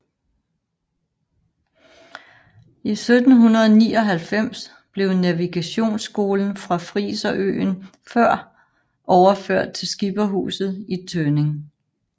I 1799 blev navigationsskolen fra friserøen Før overført til Skipperhuset i Tønning